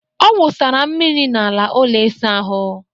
Ọ wụsara mmiri n'ala ụlọ ịsa ahụ